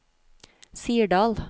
Sirdal